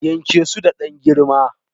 Yanke su da dan girma